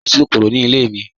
Bẹẹ̀ni, kò sí kòkòrò ní ilẹ̀ mi.